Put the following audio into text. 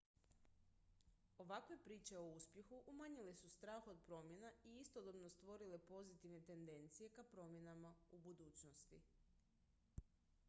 ovakve priče o uspjehu umanjile su strah od promjena i istodobno stvorile pozitivne tendencije ka promjenama u budućnosti